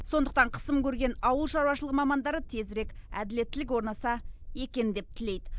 сондықтан қысым көрген ауыл шаруашылығы мамандары тезірек әділеттілік орнаса екен деп тілейді